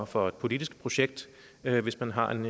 for et politisk projekt hvis man har en